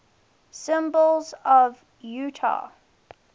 symbols of utah